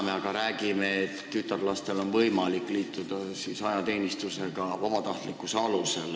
Me aga räägime, et tütarlastel on võimalik liituda ajateenistusega vabatahtlikkuse alusel.